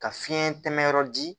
Ka fiɲɛ tɛmɛ yɔrɔ di